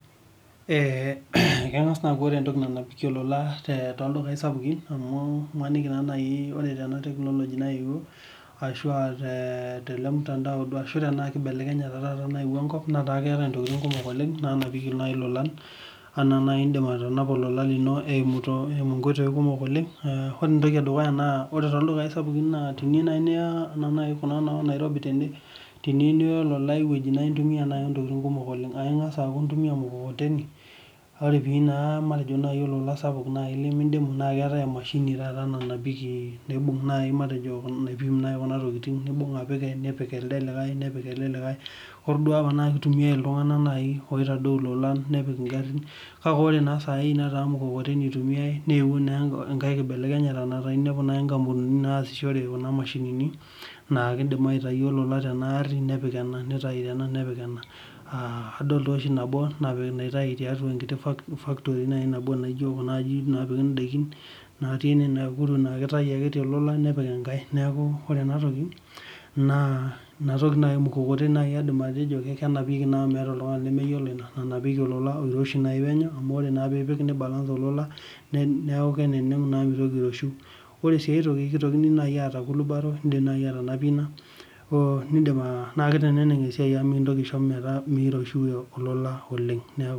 Ee kengas aaku ore entoki nanap enkurma tekulo dukau sapukin amu imaniki ore technology naewuo ashu aa telemtandao nataa keetae ntokitin kumok oleng nanapieki lolan naa nai indim atanapa lolan eimu nkoitoi kumok anaa teniyeiu nai niya nonairobi tiniyieu niya lolan woitin kumok na intumia ntokitin kumok oleng indim aitumua ormukokoteni ore peyieu na olola sapuk na keetae emashini nanap kuna tokitin nibung apik nepik elelikae na kitumiai ltunganak opik ngarin ilolan kake ore sai ata mukokoteni itumiai na inepu mashinini naikidik aitay lolan tenaa ari nepik endaa amu adol oshi nabo naitau tiatua factory nabo napiki atua kuna garinnatii ine na kitau tenagari nepik enkae neaku inatoki nai ormukokoteni enapieki amu meeta oltungani lemeyiolo ina amu ore naaa pipik ni balance olola neaku mitoki aioshiu nitoki si aata kulubaro na kiteneneng esiai amu kisho metaa miroshiu olola oleng